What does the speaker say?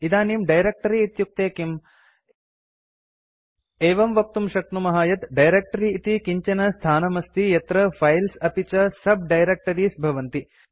इदानीं डायरेक्ट्री इत्युक्ते किम् एवं वक्तुं शक्नुमः यत् डायरेक्ट्री इति किञ्चन स्थानमस्ति यत्र फाइल्स् अपि च sub डायरेक्टरीज़ भवन्ति